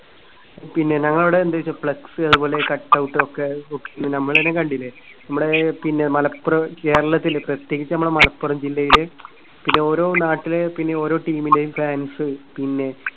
പിന്നെ ഞങ്ങളിവിടെ എന്തു ചെയ്തു flex അതുപോലെ cutout ഒക്കെ തൂക്കി. കണ്ടില്ലേ? നമ്മുടെ പിന്നെ മലപ്പുറം കേരളത്തില് പ്രതേകിച്ച് നമ്മുടെ മലപ്പുറം ജില്ലയില് പിന്നെ ഓരോ നാട്ടില് പിന്നെ ഓരോ team ന്റെയും fans പിന്നെ